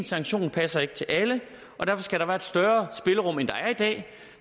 sanktion passer ikke til alle og derfor skal der være et større spillerum end der er i dag